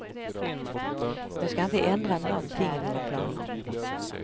Jag ska inte ändra någonting i mina planer.